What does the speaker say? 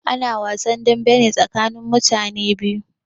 Ana wasn dambe ne tsakanin mutane biyu.